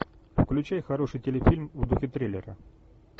включай хороший телефильм в духе триллера